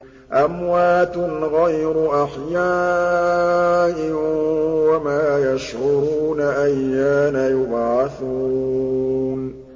أَمْوَاتٌ غَيْرُ أَحْيَاءٍ ۖ وَمَا يَشْعُرُونَ أَيَّانَ يُبْعَثُونَ